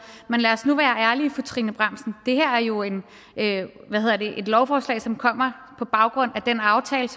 men lad os nu være ærlige det her er jo et lovforslag som kommer på baggrund af den aftale